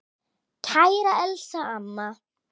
Kæra Elsa amma.